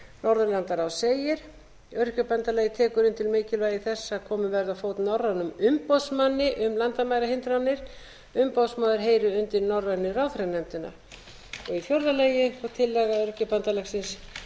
norðurlandaráðs segir öryrkjabandalagið tekur undir mikilvægi þess að komið verði á fót norrænum umboðsmanni landamærahindranir umboðsmaðurheyri undir norrænu ráðherranefndina í fjórða lagi tillaga öryrkjabandalagsins